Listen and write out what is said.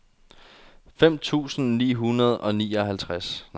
femten tusind ni hundrede og nioghalvfjerds